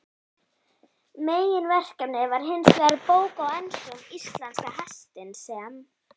Meginverkefnið var hinsvegar bók á ensku um íslenska hestinn, sem